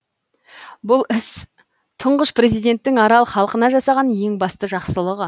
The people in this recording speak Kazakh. бұл іс тұңғыш президенттің арал халқына жасаған ең басты жақсылығы